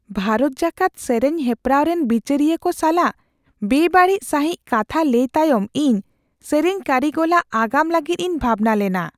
ᱵᱷᱟᱨᱚᱛ ᱡᱟᱠᱟᱛ ᱥᱮᱨᱮᱧ ᱦᱮᱯᱨᱟᱣ ᱨᱮᱱ ᱵᱤᱪᱟᱹᱨᱤᱭᱟᱹ ᱠᱚ ᱥᱟᱞᱟᱜ ᱵᱮᱼᱵᱟᱹᱲᱤᱡ ᱥᱟᱹᱦᱤᱡ ᱠᱟᱛᱷᱟ ᱞᱟᱹᱭ ᱛᱟᱭᱚᱢ ᱤᱧ ᱥᱮᱨᱮᱧ ᱠᱟᱹᱨᱤᱜᱚᱞᱟᱜ ᱟᱜᱟᱢ ᱞᱟᱹᱜᱤᱫ ᱤᱧ ᱵᱷᱟᱵᱽᱱᱟ ᱞᱮᱱᱟ ᱾